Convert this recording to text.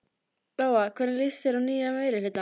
Lóa: Hvernig líst þér á nýja meirihlutann?